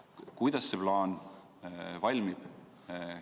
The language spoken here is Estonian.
Kuidas see plaan valmib?